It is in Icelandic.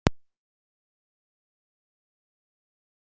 Ef þeir myndu ákveða að selja mig?